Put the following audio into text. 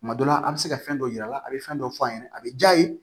Tuma dɔ la a bɛ se ka fɛn dɔw yir'a la a bɛ fɛn dɔw f'a ɲɛna a bɛ ja ye